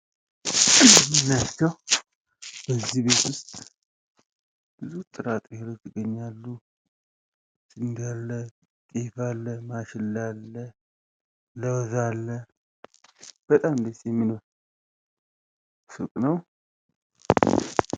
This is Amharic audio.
የምናያቸው በዚህ ቤት ዉስጥ የተለያዩ ጥራጥሬዎችን እንመለከታለን ፤ ጤፍ አለ፣ ስንዴ አለ፣ ማሽላ አለ፣ ለዉዝ አለ በጣም ደስ የሚል ሱቅ ነው።